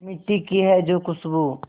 मिट्टी की है जो खुशबू